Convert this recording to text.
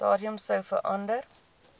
stadium sou verander